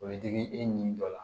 O bɛ digi e ni dɔ la